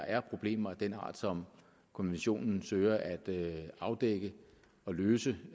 er problemer af den art som konventionen søger at afdække og løse